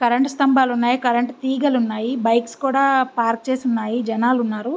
Current స్తంభాలు ఉన్నాయి current తీగలు ఉన్నాయి బైక్స్ కూడా పార్క్ చేసివున్నాయి జనాలు ఉన్నారు.